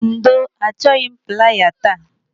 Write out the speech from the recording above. Ndo, achọghị m playa taa.